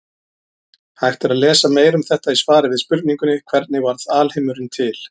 Hægt er að lesa meira um þetta í svari við spurningunni Hvernig varð alheimurinn til?